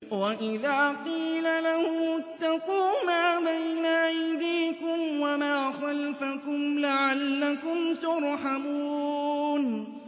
وَإِذَا قِيلَ لَهُمُ اتَّقُوا مَا بَيْنَ أَيْدِيكُمْ وَمَا خَلْفَكُمْ لَعَلَّكُمْ تُرْحَمُونَ